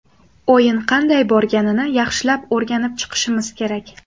O‘yin qanday borganini yaxshilab o‘rganib chiqishimiz kerak.